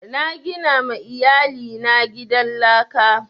Na gina ma iyali na gidan laka